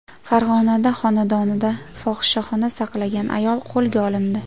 Farg‘onada xonadonida fohishaxona saqlagan ayol qo‘lga olindi.